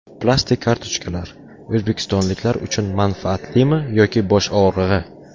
Plastik kartochkalar: o‘zbekistonliklar uchun manfaatlimi yoki bosh og‘rig‘i?